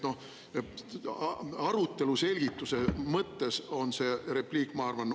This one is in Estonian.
Arutelu selgituse mõttes on see repliik oluline, ma arvan.